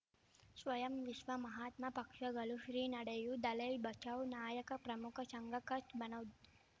ಸ್ವಯಂ ವಿಶ್ವ ಮಹಾತ್ಮ ಪಕ್ಷಗಳು ಶ್ರೀ ನಡೆಯೂ ದಲೈ ಬಚೌ ನಾಯಕ ಪ್ರಮುಖ ಸಂಘ ಕಚ್ ಮನೋಜ್